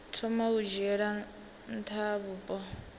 thoma u dzhiela nha vhupo